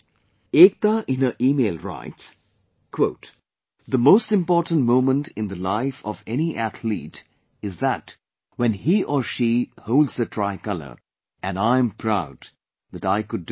Ekta in her email writes 'The most important moment in the life of any athlete is that when he or she holds the tricolor and I am proud that I could do that